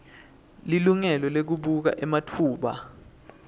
lilungelo lekubuka ematfuba